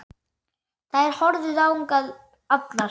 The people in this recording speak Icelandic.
Þær horfðu þangað allar.